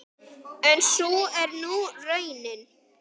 En sú er nú raunin.